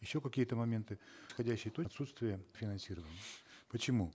еще какие то моменты отсутствие финансирования почему